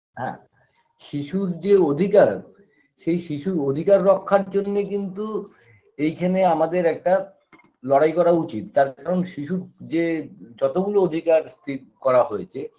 হ্যাঁ শিশুর যে অধিকার সেই শিশুর অধিকার রক্ষার জন্যে কিন্তু এইখানে আমাদের একটা লড়াই করা উচিৎ তার কারণ শিশুর যে যতগুলো অধিকার স্থির করা হয়েছে